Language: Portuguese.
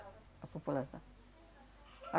A população.